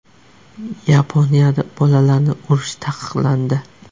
Yaponiyada bolalarni urish taqiqlandi.